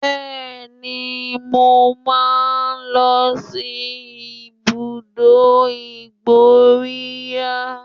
Bẹ́ẹ̀ni, mo máa ń lọ sí ibùdó ìmóríyá